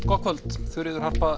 gott kvöld Þuríður Harpa